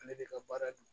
Ale de ka baara don